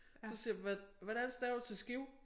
Så siger jeg hvor hvordan staver du til Skive?